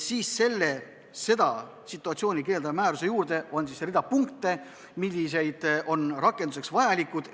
Seda situatsiooni kirjeldava määruse juures on rida punkte, mis on rakendamiseks vajalikud.